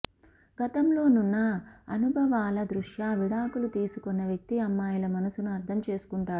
గతంలో నున్న అనుభవాల దృష్ట్యా విడాకులు తీసుకున్న వ్యక్తి అమ్మాయిల మనసును అర్థం చేసుకుంటాడు